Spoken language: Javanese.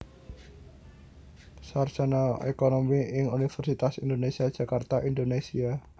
Sarjana Ekonomi ing Universitas Indonésia Jakarta Indonésia